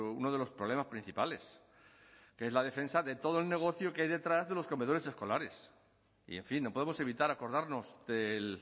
uno de los problemas principales que es la defensa de todo el negocio que hay detrás de los comedores escolares y en fin no podemos evitar acordarnos del